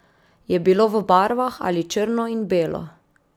Je bilo v barvah ali črno in belo?